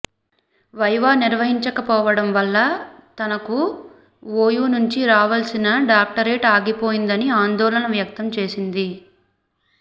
viva నిర్వహించకపోవడం వల్ల తనుకు ఓయూ నుంచి రావాల్సిన డాక్టరేట్ ఆగిపోయిందని ఆందోళన వ్యక్తం చేసింది